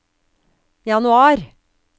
januar